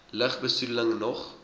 lug besoedeling nog